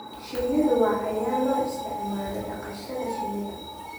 Shinnidu waa cayayaan loo isticmaalo dhaqashada shinnida.